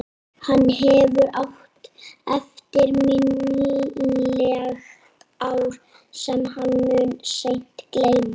Hann hefur átt eftirminnilegt ár sem hann mun seint gleyma.